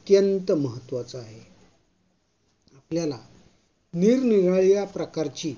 अत्यंत महत्त्वाचा आहे. आपल्याला निरनिराळ्या प्रकारची